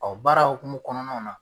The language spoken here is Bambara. baara hukumu kɔnɔnaw na.